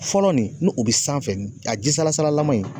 Fɔlɔ nin ni o be sanfɛ ,a ji salasalaman in